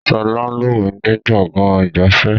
Sọlá ń lúwẹ̀ ni gbọ̀ngàn ìgbafẹ́